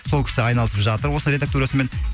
сол кісі айналысып жатыр осы редактурасымен